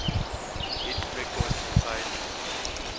hit record entirely